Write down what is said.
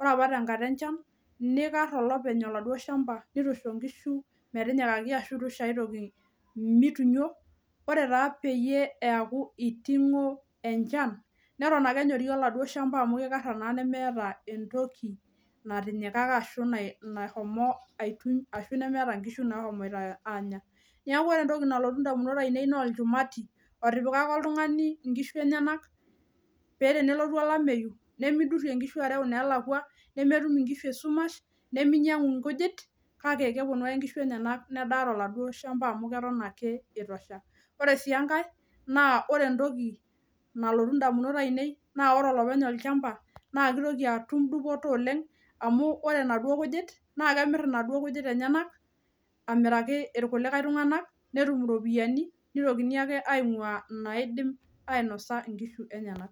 ore opa tenkata enchan neikarr olopeny oladuo  shamba neitu eisho nkishu metinyikaki ashu eitu eisho aitoki meitunyo . Ore taa peyie eaku eiting'o enchan neton ake enyori oladuo shamba amu keikarra naa nemeeta entoki natinyikaka ashu nashomo aituny nemeata inkishu nashomoita aanya. Neaku ore entoki nalotu indamunot ainei noolchumati otipikaka oltung'ani inkishu enyenak pee tenelotu olameyu nemeidirrie inkishu areu ineelakwa nemetum inkishu esumash nemeinyang'u nkujit kake kepuonu aje nkishu enyenak nedaa toladuo shamba] amu keton ake eitosha. Ore sii engai naa ore entoki nalotu indamunot ainei naa ore olopeny olchamba naakeitoki atum dupoto oleng' amu ore naduo kujit naakemirr inaduo kujit enyenak amiraki ilkulikae tung'anak netum iropiani neitokini ake aing'uaa naaidim ainosa inkishu enyenak.